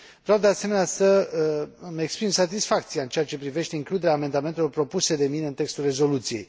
Vreau, de asemenea, să îmi exprim satisfacția în ceea ce privește includerea amendamentelor propuse de mine în textul rezoluției.